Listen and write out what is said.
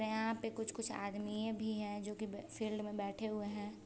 यहाँ पे कुछ कुछ आदमिये भी है जो की फील्ड में बैठे हुए है।